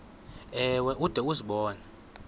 ewe ude uzibone